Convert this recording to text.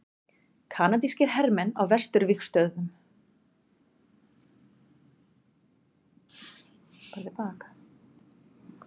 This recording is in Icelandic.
Kanadískir hermenn á vesturvígstöðvunum.